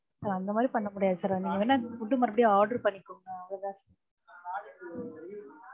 sir அந்த மாதிரி பண்ண முடியாது sir நீங்க வேணும்னா food அ மறுபடியும் order பண்ணிக்கோங்க. அவ்ளோதான் sir